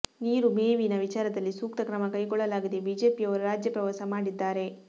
ನೀರು ಮೇವಿನ ವಿಚಾರದಲ್ಲಿ ಸೂಕ್ತ ಕ್ರಮ ಕೈಗೊಳ್ಳಲಾಗಿದೆ ಬಿಜೆಪಿಯವರು ರಾಜ್ಯ ಪ್ರವಾಸ ಮಾಡಿದ್ದಾರೆ